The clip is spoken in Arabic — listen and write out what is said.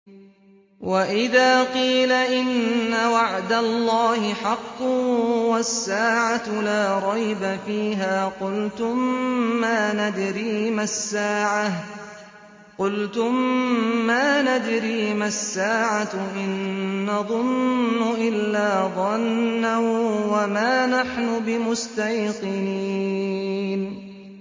وَإِذَا قِيلَ إِنَّ وَعْدَ اللَّهِ حَقٌّ وَالسَّاعَةُ لَا رَيْبَ فِيهَا قُلْتُم مَّا نَدْرِي مَا السَّاعَةُ إِن نَّظُنُّ إِلَّا ظَنًّا وَمَا نَحْنُ بِمُسْتَيْقِنِينَ